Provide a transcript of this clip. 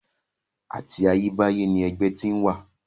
Àti ayébáyé ni ẹgbẹ́ ti ń wà.